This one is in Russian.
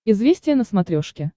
известия на смотрешке